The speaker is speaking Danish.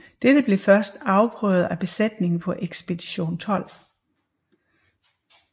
Dette blev først afprøvet af besætningen på Ekspedition 12